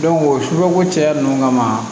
o suguyako caya ninnu kama